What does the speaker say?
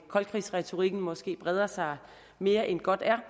koldkrigsretorikken måske breder sig mere end godt er